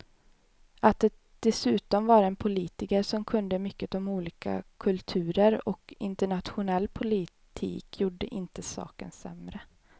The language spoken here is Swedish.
Att det dessutom var en politiker som kunde mycket om olika kulturer och internationell politik gjorde inte saken sämre.